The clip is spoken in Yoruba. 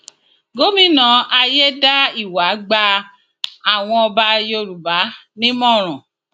gomina ayédáiwa gba àwọn ọba yorùbá nímọràn